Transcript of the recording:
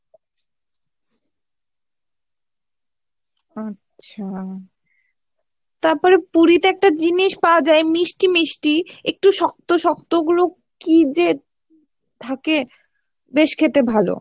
আচ্ছা তারপরে পুরীতে একটা জিনিস পাওয়া যাই মিষ্টি মিষ্টি একটু শক্ত শক্ত ওগুলো কী যে থেকে বেশ খেতে ভালো